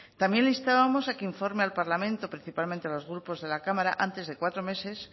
también le instábamos a que informe al parlamento principalmente a los grupos de la cámara antes de cuatro meses